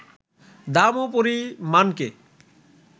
দাম ও পরিমাণকে